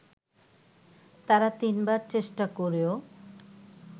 তারা তিনবার চেষ্টা করেও